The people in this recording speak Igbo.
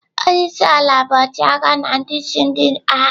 Onye isi ala bụ ọchịagha na ndị isi ndị agha.